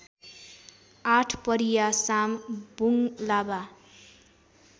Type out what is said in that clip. आठपरिया साम बुङ्लाबा